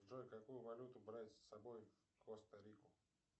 джой какую валюту брать с собой в коста рику